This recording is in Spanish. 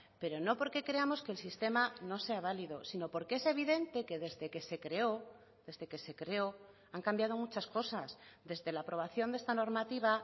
pero no porque creamos que el sistema no sea válido sino porque es evidente que desde que se creó desde que se creó han cambiado muchas cosas desde la aprobación de esta normativa